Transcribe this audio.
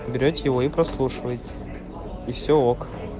берете его и прослушиваете и все ок